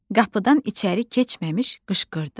Qapıdan içəri keçməmiş qışqırdı.